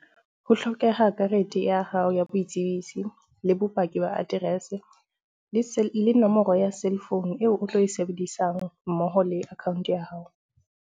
Ho hlokeha karete ya hao ya boitsebiso, le bopaki ba address, le se le nomoro ya cell phone eo o tlo e sebedisang mmoho le account ya hao.